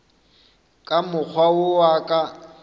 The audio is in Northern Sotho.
ka mokgwa wo a ka